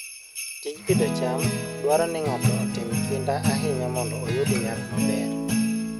Tij pidho cham dwaro ni ng'ato otim kinda ahinya mondo oyud nyak maber.